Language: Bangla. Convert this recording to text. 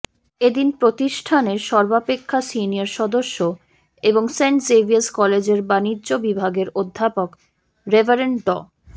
এদিন প্রতিষ্ঠানের সর্বাপেক্ষা সিনিয়র সদস্য এবং সেন্ট জেভিয়ার্স কলেজের বাণিজ্য বিভাগের উপাধ্যক্ষ রেভারেন্ড ড